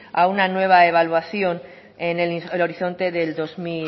a una nueva evaluación en el horizonte